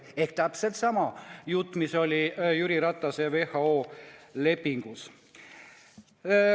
See on täpselt sama jutt, mis oli Jüri Ratase ja WHO lepingus.